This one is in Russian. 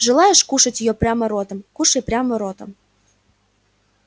желаешь кушать её прямо ротом кушай прямо ротом